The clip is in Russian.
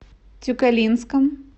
тюкалинском